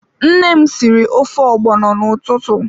Nne m sịrị ofe ogbono n'ụtụtụ.